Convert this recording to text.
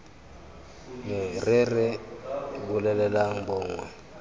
me re re bolelelang mongwe